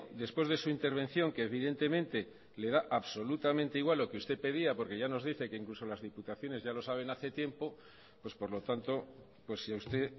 después de su intervención que evidentemente le da absolutamente igual lo que usted pedía porque ya nos dice que incluso las diputaciones ya lo saben hace tiempo pues por lo tanto pues si a usted